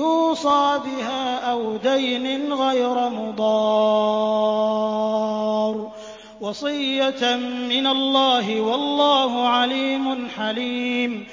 يُوصَىٰ بِهَا أَوْ دَيْنٍ غَيْرَ مُضَارٍّ ۚ وَصِيَّةً مِّنَ اللَّهِ ۗ وَاللَّهُ عَلِيمٌ حَلِيمٌ